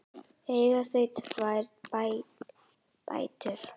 Eiga þau tvær dætur.